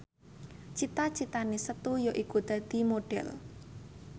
cita citane Setu yaiku dadi Modhel